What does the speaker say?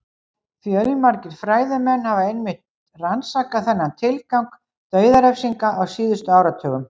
Fjölmargir fræðimenn hafa einmitt rannsakað þennan tilgang dauðarefsinga á síðustu áratugum.